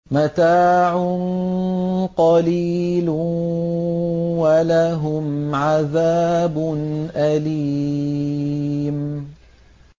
مَتَاعٌ قَلِيلٌ وَلَهُمْ عَذَابٌ أَلِيمٌ